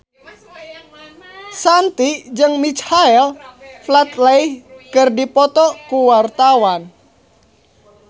Shanti jeung Michael Flatley keur dipoto ku wartawan